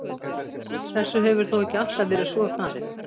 Þessu hefur þó ekki alltaf verið svo farið.